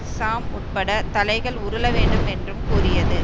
சாம் உட்பட தலைகள் உருள வேண்டும் என்றும் கூறியது